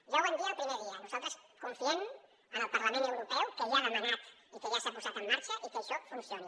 ja ho vam dir el primer dia nosaltres confiem en el parlament europeu que ja ha demanat i que ja s’ha posat en marxa i que això funcioni